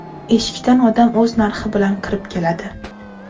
Eshikdan odam o‘z narxi bilan kirib keladi.